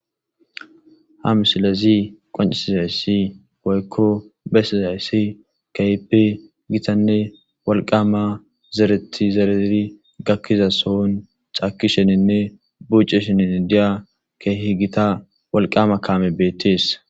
Ha missilezzi qoncisizayssi woykko besizayssi kehippe githane wolqama zereththi zerizi gakizasson cakishshe bucishen diyya keehi githa wolqqama kamezi bethess.